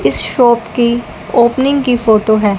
इस शॉप की ओपनिंग की फोटो है।